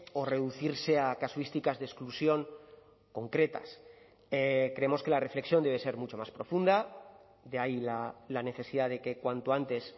o reducirse a casuísticas de exclusión concretas creemos que la reflexión debe ser mucho más profunda de ahí la necesidad de que cuanto antes